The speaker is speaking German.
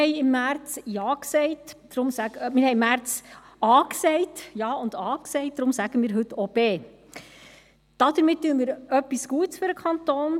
Wir sagten im März Ja und A, und darum sagen wir heute auch B. Damit tun wir etwas Gutes für den Kanton.